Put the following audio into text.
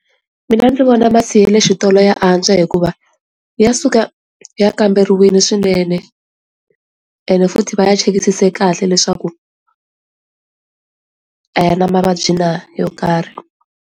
Mina ndzi vona masi ya le xitolo ya antswa hikuva ya suka ya kamberiwini swinene and futhi va ya chekisisiwe kahle leswaku a ya na mavabyi na yo karhi.